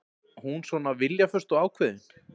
Hún svona viljaföst og ákveðin.